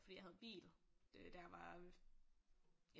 Fordi jeg havde bil da jeg var øh